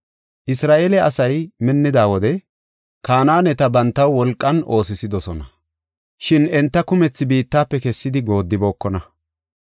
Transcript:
Isra7eele asay minnida wode Kanaaneta bantaw wolqan oosisidosona; shin enta kumethi biittafe kessidi goodibookona.